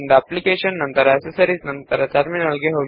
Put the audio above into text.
application ಜಿಟಿಯ accessories ಜಿಟಿಯ terminal